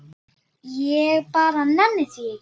Ég bara nenni því ekki.